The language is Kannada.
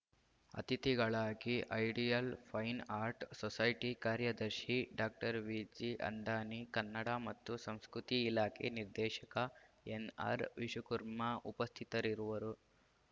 ಅತಿಥಿಗಳಾಗಿ ಐಡಿಯಲ್‌ ಫೈನ್‌ ಆರ್ಟ್‌ ಸೊಸೈಟಿ ಕಾರ್ಯದರ್ಶಿ ಡಾಕ್ಟರ್ ವಿಜಿಅಂದಾನಿ ಕನ್ನಡ ಮತ್ತು ಸಂಸ್ಕೃತಿ ಇಲಾಖೆ ನಿರ್ದೇಶಕ ಎನ್‌ಆರ್‌ವಿಶುಕುರ್ಮ ಉಪಸ್ಥಿತರಿರುವರು